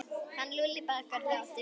Hann Lúlli bakari er látinn.